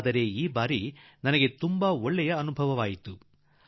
ಆದರೆ ಈ ದಿನಗಳಲ್ಲಿ ನನಗೆ ಒಂದು ಸಂತೋಷದ ಅನುಭವವಾಯಿತು